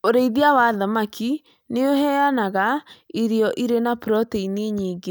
Ũrĩithia wa thamaki nĩ ũheanaga irio irĩ na proteini nyingĩ.